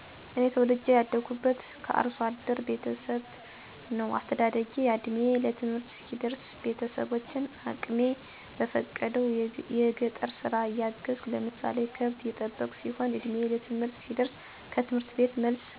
እኔ ተወልጀ ያደግሁት ከአርሶ አደር ቤተሠብ ነው አስተዳደጌም እድሜየ ለትምህርት እስከሚደርስ ቤተሠቦቸን አቅሜ በሚፈቅደው የጠር ስራ እያገዝሁ ለምሳሌ ከብት እየጠበቅሁ ሲሆን እድሜየ ለትምህርትም ሲደርስም ከትምህርት ቤት ስመለስ ቤተሠቦቸን የግብርና ስራ በማገዝ ነው ያደግሁት። በቤታችን ውስጥ የመከባበር በተለይ እናት እና አባትን እንዲሁም እንግዳ ሲመጣ ጉልበት የመሳም እግር የማጠብ፣ የመረዳዳት፣ አብሮ የመብላት እና የመዋደድ እሴት አፅንዖት ነበር።